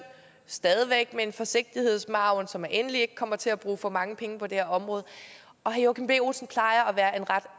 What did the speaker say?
stadig væk med en forsigtighedsmargin så man endelig ikke kommer til at bruge for mange penge på det her område herre joachim b olsen plejer at være en ret